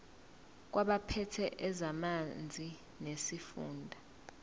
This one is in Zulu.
kwabaphethe ezamanzi nesifunda